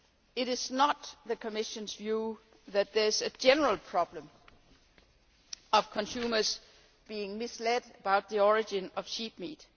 It is not the Commission's view that there is a general problem of consumers being misled about the origin of sheep meat.